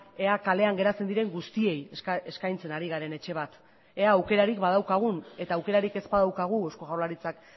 ea kalean geratzen diren guztiei eskaintzen ari garen etxe bat ea aukerarik badaukagun eta aukerarik ez badaukagu eusko jaurlaritzak